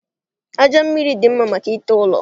Aja mmiri dị mma maka ite ụlọ